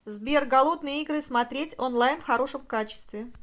сбер голодные игры смотреть онлайн в хорошем качестве